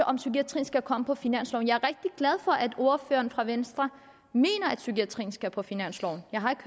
om psykiatrien skal komme på finansloven jeg er glad for at ordføreren fra venstre mener at psykiatrien skal på finansloven jeg har ikke